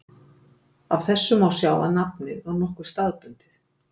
Af þessu má sjá að nafnið var nokkuð staðbundið.